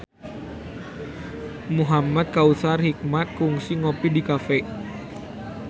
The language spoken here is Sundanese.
Muhamad Kautsar Hikmat kungsi ngopi di cafe